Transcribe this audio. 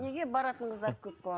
неге баратын қыздар көп болады